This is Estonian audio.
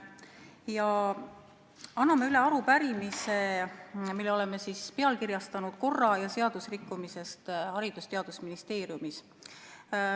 Ma annan üle arupärimise, mille oleme pealkirjastanud "Korra- ja seadusrikkumisest Haridus- ja Teadusministeeriumis.